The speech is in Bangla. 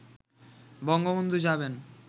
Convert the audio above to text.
বঙ্গবন্ধু যাবেন